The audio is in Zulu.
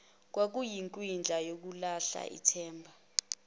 kwakuyikwindla yokulahla ithemba